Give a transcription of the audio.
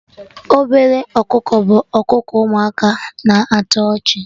Ọbele ọkụkọ' bụ akụkọ ụmụaka na-atọ ọchị